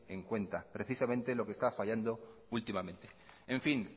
en cuenta precisamente lo que está fallando últimamente en fin